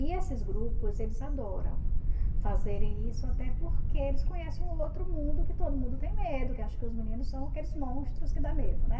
E esses grupos, eles adoram fazerem isso até porque eles conhecem um outro mundo que todo mundo tem medo, que acha que os meninos são aqueles monstros que dá medo, né?